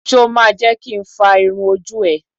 Ṣo ma jẹ́ kin fá irun ojú ẹ?